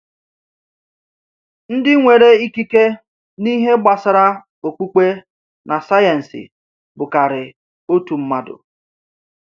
Ndị nwere ikike n’ihe gbasara okpukpe na sayensị bụkarị otu mmadụ.